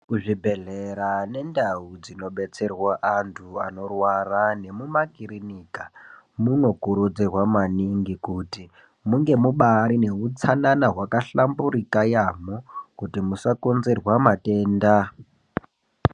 Kuzvibhedhlera nendau dzinodetserwa antu anorwara nemumakirinika munokurudzirwa maningi kuti munge mubaari neutsanana hwakahlamburika yaamho kuti musakonzerwa matenda.